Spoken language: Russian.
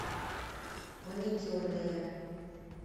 маникюрная